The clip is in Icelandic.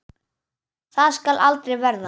Það skal aldrei verða!